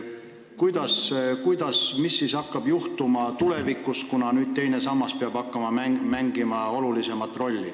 Mis ikkagi hakkab juhtuma tulevikus, kui teine sammas peab olulisemat rolli mängima hakkama?